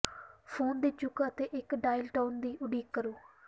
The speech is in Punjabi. ਫੋਨ ਦੀ ਚੁੱਕ ਅਤੇ ਇੱਕ ਡਾਇਲ ਟੋਨ ਦੀ ਉਡੀਕ ਕਰੋ